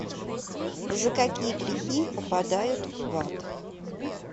за какие грехи попадают в ад